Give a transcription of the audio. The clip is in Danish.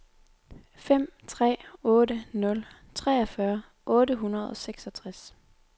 fem tre otte nul treogfyrre otte hundrede og seksogtres